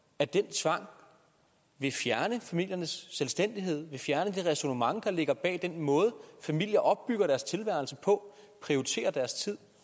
at den tvang vil fjerne familiernes selvstændighed vil fjerne det ræsonnement der ligger bag den måde familier opbygger deres tilværelse på prioriterer deres tid